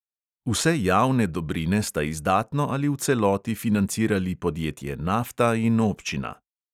Vse javne dobrine sta izdatno ali v celoti financirali podjetje nafta in občina.